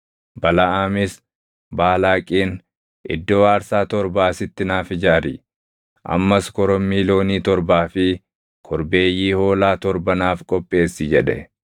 Balaʼaamis Baalaaqiin, “Iddoo aarsaa torba asitti naaf ijaari; ammas korommii loonii torbaa fi korbeeyyii hoolaa torba naaf qopheessi” jedhe.